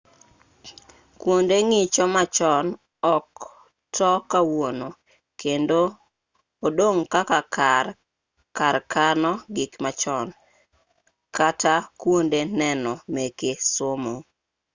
kuonde ng'icho machon ok to kawuono kendo odong' kaka kar kano gik machon kata kuonde neno meke somo